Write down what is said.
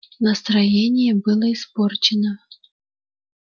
настроение было испорчено